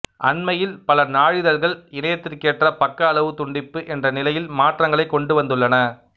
அண்மையில் பல நாளிதழ்கள் இணையத்திற்கேற்ற பக்க அளவு துண்டிப்பு என்ற நிலையில் மாற்றங்களைக் கொண்டுவந்துள்ளன